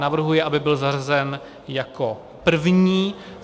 Navrhuji, aby byl zařazen jako první.